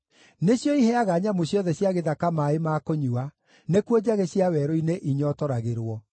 Nĩcio iheaga nyamũ ciothe cia gĩthaka maaĩ ma kũnyua; nĩkuo njagĩ cia werũ-inĩ inyootoragĩrwo.